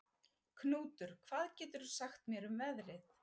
Knútur, hvað geturðu sagt mér um veðrið?